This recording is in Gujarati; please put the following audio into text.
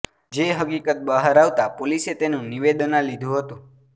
જે હકીકત બહાર આવતા પોલીસે તેનું નિવેદના લીધું હતું